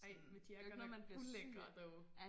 Ej men de er godt nok ulækre though